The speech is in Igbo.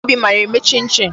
Adaobi mara eme chin chin.